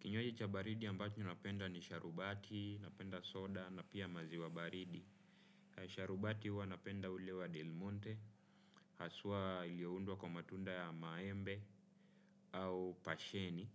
Kinyuaji cha baridi ambacho napenda ni sharubati, napenda soda na pia maziwa baridi. Sharubati hua napenda ulewa delmonte, hasua iliowundwa kwa matunda ya maembe au pasheni.